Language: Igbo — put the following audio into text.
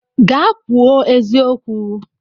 Gaa kwuo eziokwu!